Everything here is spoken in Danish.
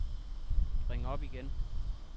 ring op igen